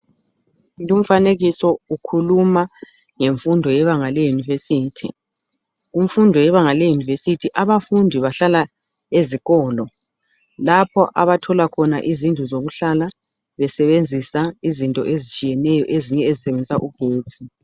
Lumfanekiso ukhuluma ngemfundo yebanga leyunivesithi. Kumfundo yebanga leyunivesithi abafundi bahlala ezikolo lapha abathola khona izindlu zokuhlala besebenzisa izinto ezitshiyeneyo ezinye ezisebenzisa ugetsi.